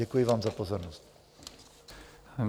Děkuji vám za pozornost.